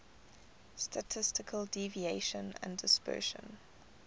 statistical deviation and dispersion